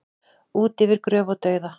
Út yfir gröf og dauða